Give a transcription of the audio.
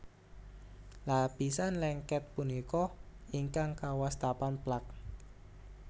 Lapisan lengket punika ingkang kawastanan plak